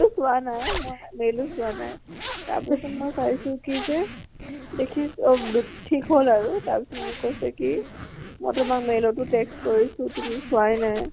mail টো চোৱা নাই তাৰ পিছত মই চাইছো কি যে mail টো চোৱা নাই দেখিছো তাৰ পিছত মোক কৈছে কি মই তোমাক mail টো text কৰিছো, তুমি চোৱাই নাই।